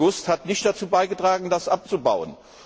3. August hat nicht dazu beigetragen, das abzubauen.